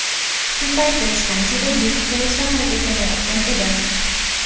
Shu paytda stansiyada yuk poyezdi harakatlanayotgan edi.